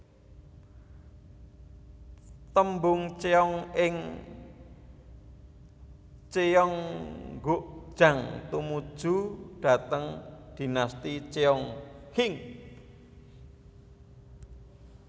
Tembung cheong ing cheonggukjang tumuju dhateng Dinasti Cheong Qing